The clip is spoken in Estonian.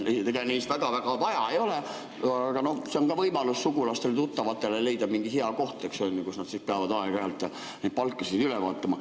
Ega neid väga-väga vaja ei ole, aga see on ka võimalus sugulastele-tuttavatele leida mingi hea koht, kus nad siis peavad aeg-ajalt neid palkasid üle vaatama.